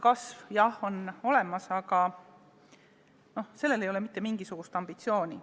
Kasv, jah, on olemas, aga ei ole mitte mingisugust ambitsiooni.